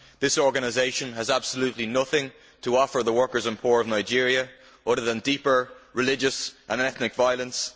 This organisation has absolutely nothing to offer the workers and poor of Nigeria other than deeper religious and ethnic violence.